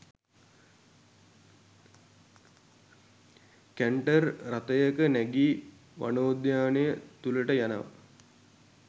Canter රථයක නැගී වනෝද්‍යානය තුළට යනවා.